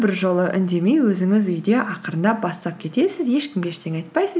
бір жолы үндемей өзіңіз үйде ақырындап бастап кетесіз ешкімге ештеңе айтпайсыз